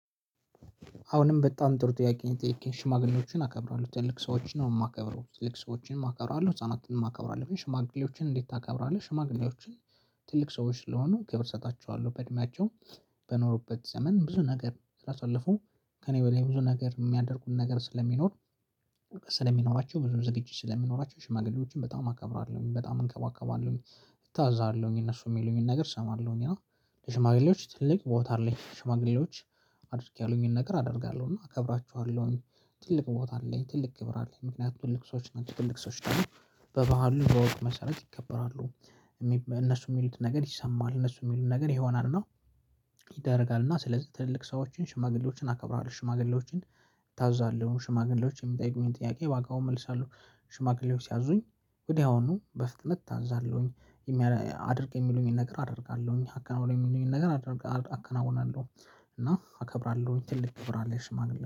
አሁንም በጣም ጥሩ ጥያቄን ሽማግሌዎችን አከብራለሁ ትልቅ ሰዎችን ነው ማከብረው ትልቅ ሰዎችን አከብራለሁ ህፃናትን አከብራለሁ ሽማግሌዎችን እንዴት ታከብራለህ? ሽማግሌዎችን ትልቅ ሰዎች ስለሆኑ ክብር እሰጣቸዋለሁ በእድሜያቸው በኖሩበት ዘመን ብዙ ነገር ስላሳለፉ ከእኔ በላይ ብዙ ነገር የሚያደርጉን ነገር ስለሚኖር ስለሚኖራቸው ብዙ ዝግጅት ስለሚኖራቸው ሽማግሌዎችን በጣም አከብራለሁኝ በጣም እንከባከባለሁኝ። እታዛለሁኝ እነሱ የሚሉኝን ነገር እሰማለሁኝ እና ሽማግሌዎች ትልቅ ቦታ አለኝ። ሽማግሌዎች አድርጌ ያሉኝን ነገር አደርጋለሁ እና እከብራችኋለሁኝ። ትልቅ ቦታ አለኝ ትልቅ ክብር አለኝ ምክንያቱም ትልቅ ሰዎች ናቸው ትልቅ ሰዎች ናቸው። በበሃሉ መሰረት ይከበራሉ እነሱ ሚሉትን ነገር ይሰማል እነሱ ሚሉትን ነገር ይሆናልና። እና ስለዚህ ትልልቅ ሰዎችን ሽማግሌዎችን አከብረዋለሁ። ሽማግሌዎችን እታዘዛለሁ ሽማግሌዎች የሚጠይቁኝን ጥያቄ በአግባቡ እመልሳለሁ። ሽማግሌዎች ሲያዙኝ ወዲያውኑ በፍጥነት እታዛለሁኝ። አድርግ የሚሉኝን ነገር አደርጋለሁኝ አከናውን የሚሉኝኝ ነገር አከናውናለሁ። እና አከብራለሁኝ ትልቅ ክብር አለ ሽማግሌ